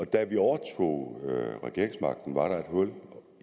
da vi overtog regeringsmagten var der et hul